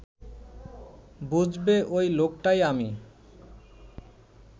বুঝবে ওই লোকটাই আমি